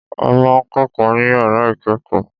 A ma ń kẹ́kọ̀ọ́ ní yàrá ìkẹ́kọ̀ọ́.